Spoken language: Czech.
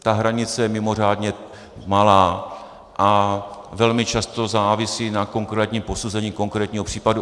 Ta hranice je mimořádně malá a velmi často závisí na konkrétním posouzení konkrétního případu.